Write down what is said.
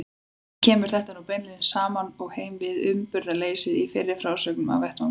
Ekki kemur þetta nú beinlínis saman og heim við uppburðarleysið í fyrri frásögnum af vettvangi.